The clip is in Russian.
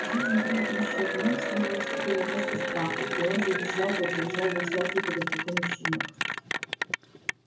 жизнь крепнущая в нём снова уступила место страху и он завизжал как завизжал бы всякий перепуганный щенок